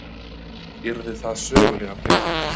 Yrðu það sögulegar breytingar